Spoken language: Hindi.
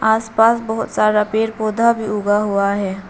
आस पास बहोत सारा पेड़ पौधा भी उगा हुआ है।